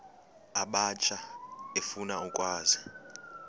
abatsha efuna ukwazi